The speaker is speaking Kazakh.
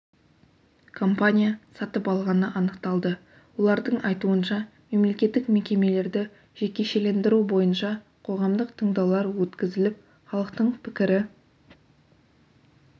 компания сатып алғаны анықталды олардың айтуынша мемлекеттік мекемелерді жекешелендіру бойынша қоғамдық тыңдаулар өткізіліп халықтың пікірі